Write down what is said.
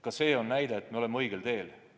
Ka see tõestab, et me oleme õigel teel.